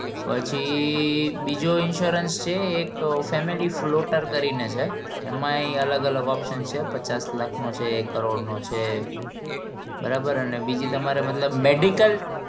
પછી બીજો insurance છે એક family fault કરી ને છે એમાં અલગ અલગ option છે પચાસ લાખ નો છે એક કરોડ નો છે બરાબર અને બીજી તમારી મતલબ medical